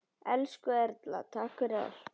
Elsku Erla, takk fyrir allt.